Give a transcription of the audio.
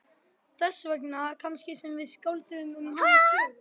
Þess vegna kannski sem við skálduðum um hana sögu.